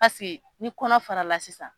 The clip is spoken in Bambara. Pase n kɔnɔ fara la sisan.